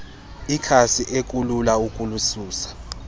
ikhasi ekulula ukulisusa